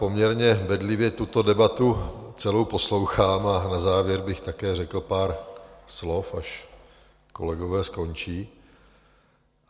Poměrně bedlivě tuto debatu celou poslouchám a na závěr bych také řekl pár slov, až kolegové skončí.